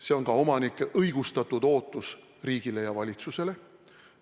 See on ka omanike õigustatud ootus riigile ja valitsusele.